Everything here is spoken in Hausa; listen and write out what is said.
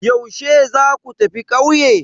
Yaushe za ku tafi ƙauye?